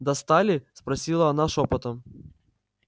достали спросила она шёпотом